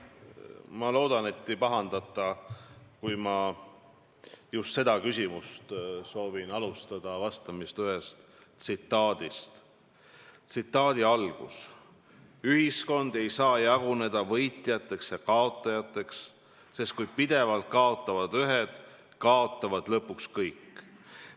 Ma loodan, et ei pahandata, kui ma just sellele küsimusele vastamist alustan tsitaadiga: "Ühiskond ei saa jaguneda võitjateks ja kaotajateks, sest kui pidevalt kaotavad ühed, kaotavad lõpuks kõik.